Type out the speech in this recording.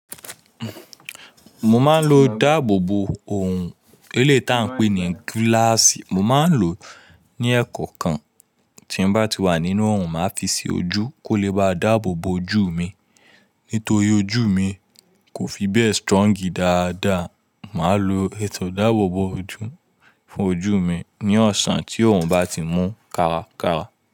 Mo máa ń lo ìdáàbòbò òòrun, eléyii ta ń pè ní gíláàsì. Mo máa ń lò ó ní ẹkọ̀ọ̀kan tí n bá ti wà nínú òòrun, màá fi sí ojú kó lè bá a dáàbòbò ojú mi. Nítorí ojú mi kò fi bẹ́ẹ̀ strọ́ǹgì dáadáa, màá lo ètò ìdáàbòbò ojú fún ojú mi ní ọ̀sán tí òòrun bá ti mú kára kára.